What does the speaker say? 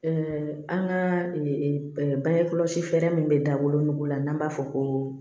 an ka bange kɔlɔsi fɛɛrɛ min bɛ dabolonugu la n'an b'a fɔ ko